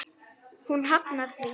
Hún hafnar því.